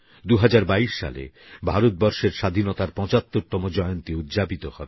২০২২ সালে ভারতবর্ষের স্বাধীনতার ৭৫তম জয়ন্তী উদযাপিত হবে